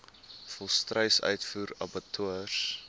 volstruis uitvoer abattoirs